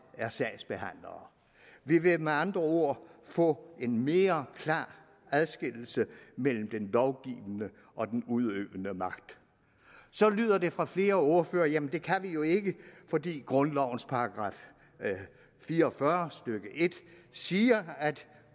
er sagsbehandlere vi vil med andre ord få en mere klar adskillelse mellem den lovgivende og den udøvende magt så lyder det fra flere ordførere jamen det kan vi jo ikke fordi grundlovens § fire og fyrre stykke en siger at